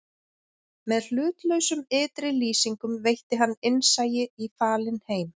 Með hlutlausum ytri lýsingum veitti hann innsæi í falinn heim